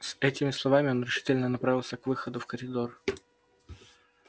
с этими словами он решительно направился к выходу в коридор